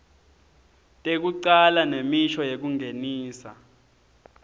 tekucala nemisho yekungenisa